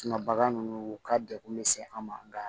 bagan ninnu u ka degun misɛn an ma nka